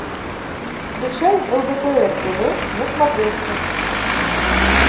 включай лдпр тв на смотрешке